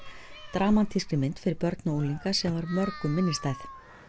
dramatíska mynd fyrir börn og unglinga sem var mörgum minnisstæð